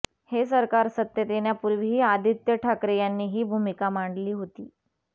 हे सरकार सत्तेत येण्यापूर्वीही आदित्य ठाकरे यांनी ही भूमिका मांडली होती